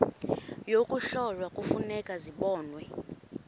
yokuhlola kufuneka zibonwe